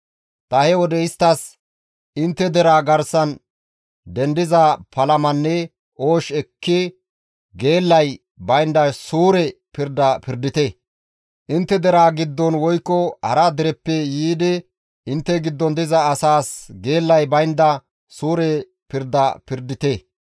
«Ta he wode isttas, ‹Intte deraa garsan dendiza palamanne oosh ekki geellay baynda suure pirda pirdite; intte deraa giddon woykko hara dereppe yiidi intte giddon diza asaas geellay baynda suure pirda pirdite.